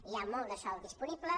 hi ha molt de sòl disponible